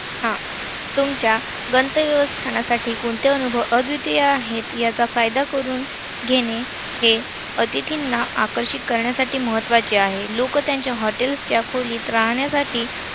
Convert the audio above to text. हा. तुमच्या गंतव्यस्थानासाठी कोणते अनुभव अद्वितीय आहेत याचा फायदा करून घेणे हे अतिथींना आकर्षित करण्यासाठी महत्वाचे आहे.